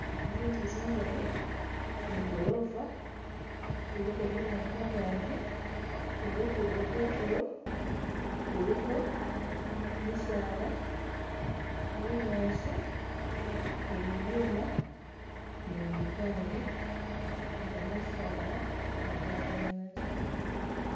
Zinzu zigali ni golofa iliko byuma kungagyi ni lugudo kutulo luliko misaala, bunyaasi ni'bibyuma ni' bipande ni kamazala ge gamasanyalaze